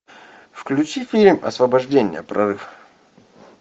включи фильм освобождение прорыв